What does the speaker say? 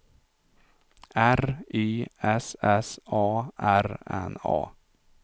R Y S S A R N A